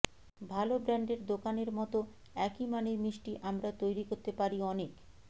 ভালো ব্র্যান্ডের দোকানের মতো একই মানের মিষ্টি আমরা তৈরি করতে পারি অনেক